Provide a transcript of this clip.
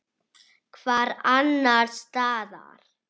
Hvar annars staðar!